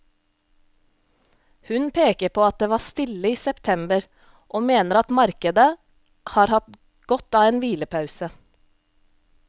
Hun peker på at det var stille i september og mener at markedet har hatt godt av en hvilepause.